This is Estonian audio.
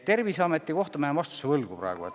Terviseameti kohta jään vastuse praegu võlgu.